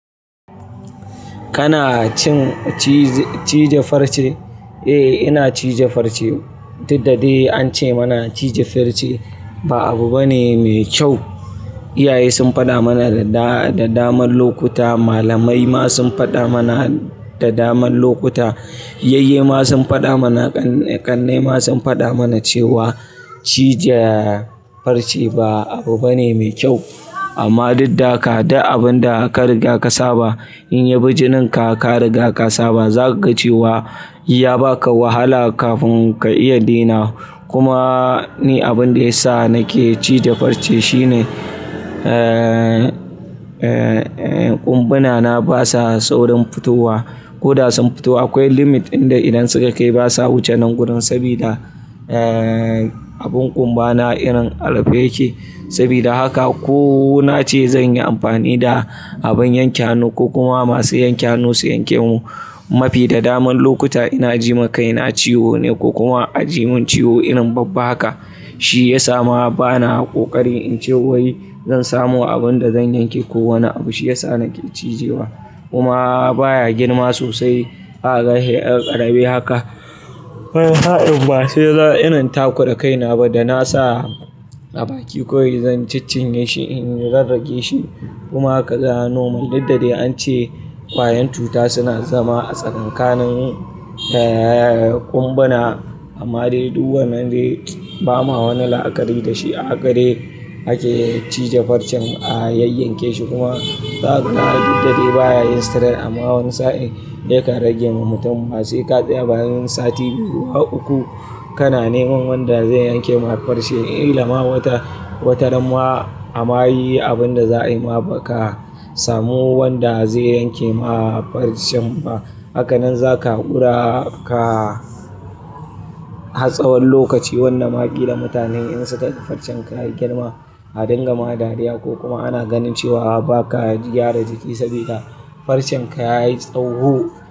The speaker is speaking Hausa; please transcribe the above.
Kana cin cije farce ne Eh, ina cije farce. Dukdade an ce mana cije farce ba abu bane mai kyau. Iyaye sun faɗa mana da dama lokuta, malamai ma sun faɗa mana da dama lokuta, yayye ma sun faɗa mana, ƙannai ma sun faɗa mana cewa cije farce ba abu bane mai kyau. Amma daddaka da abin da ka riga ka saba in ya bi jinin ka, ka riga ka saba, zaka ga cewa ya baka wahala kafin ka iya dena. Kuma ni abin da ya sa nake cije farce shine, eh, eh, eh kumbunana basa saurin fitowa. Ko da sun fito akwai limit inda idan suka kai basa wuce nan guda, sabida eh, abin kumbana irin arufe yake. Sabida haka ko nace zanyi amfani da abin yanke hannu ko kuma masu yanke hannu su yanke mu. Mafi da dama lokuta ina jima kai ina ciwo ne ko kuma ajiman ciwo irin babba haka. Shi ya samu bana ƙoƙari in ce wai zan samu abin da zan yanke ko wani abu. Shi ya sa nake cije wa. Kuma baya girma sosai. A karfe haka, kwan haɗin ba sai zan ina taku da kaina ba da nasa a baki ko zan ciccige shi in rarrage shi. Kuma haka za a noma. Dukdade ance ƙwayan cuta suna zama a tsakankanin eh, kumbuna amma dai duk wannan dai bama wani la'akari dashi. A hakane ake cije farcen a yayyanke shi kuma zaka ga daddare baya yin stress amma wani sa'in yakan rage ma mutum. Ma sai ka tsaya bayan sati biyu ko uku kana neman wanda zai yanke maka farce. Ilama wata, wata dama ama yi abin da za ayi ma baka samu wanda zai yanke maka farcen ba. Hakanan zaka hakura ka hatsawo lokaci wannan maƙile mutanen in su tafi farcen ka ya girma a dinga ma ɗariya ko kuma ana ganin cewa baka gyara jiki sabida farcen ka yayi tsawo.